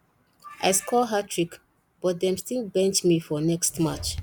i score hattrick but dem still bench me for next match